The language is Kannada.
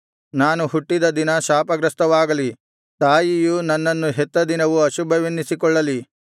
ನಾನು ಹುಟ್ಟಿದ ದಿನ ಶಾಪಗ್ರಸ್ತವಾಗಲಿ ತಾಯಿಯು ನನ್ನನ್ನು ಹೆತ್ತ ದಿನವು ಅಶುಭವೆನ್ನಿಸಿಕೊಳ್ಳಲಿ